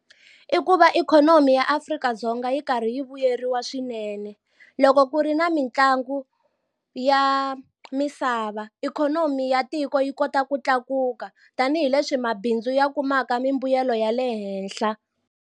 I ku va ikhonomi ya Afrika-Dzonga yi karhi yi vuyeriwa swinene loko ku ri na mitlangu ya misava ikhonomi ya tiko yi kota ku tlakuka tanihileswi mabindzu ya kumaka mimbuyelo ya le henhla.